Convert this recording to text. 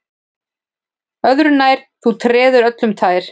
Öðru nær, þú treður öllum um tær